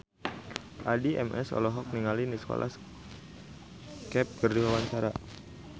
Addie MS olohok ningali Nicholas Cafe keur diwawancara